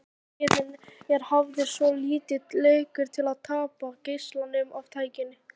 Annar spegillinn er hafður svolítið lekur til að tappa geislanum af tækinu.